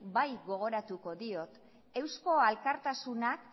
bai gogoratuko diot eusko alkartasunak